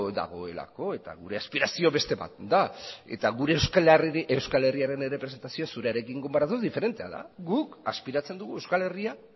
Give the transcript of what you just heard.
dagoelako eta gure aspirazioa beste bat da eta gure euskal herriaren errepresentazioa zurearekin konparatuz diferentea da guk aspiratzen dugu euskal herria